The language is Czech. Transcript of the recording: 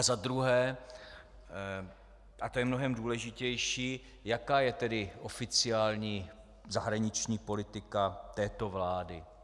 A za druhé, a to je mnohem důležitější, jaká je tedy oficiální zahraniční politika této vlády?